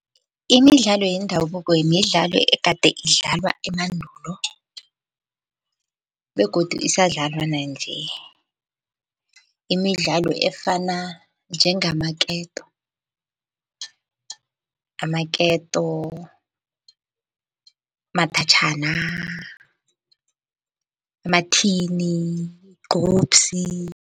Imidlalo yendabuko midlalo egade idlalwa emandulo begodu isadlalwa nanje. Imidlalo efana njengamaketo, amaketo, umathatjhana, amathini, gcubsi.